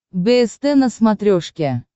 бст на смотрешке